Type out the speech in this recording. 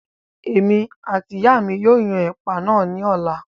Èmi àti ìyáa mi yóò yan ẹ̀pà náà ní ọ̀la